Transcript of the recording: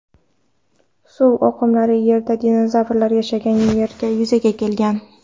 Suv oqimlari Yerda dinozavrlar yashagan erada yuzaga kelgan.